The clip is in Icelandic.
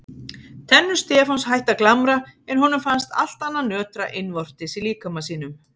Tennur Stefáns hættu að glamra en honum fannst allt annað nötra innvortis í líkama sínum.